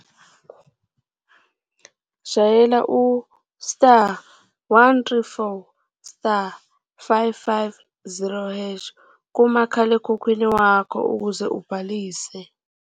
Shayela u-*134*550# kumakhalekhukhwini wakho ukuze ubhalise.